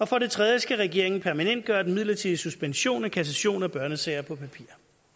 for det tredje skal regeringen permanentgøre den midlertidige suspension af kassation af børnesager på papir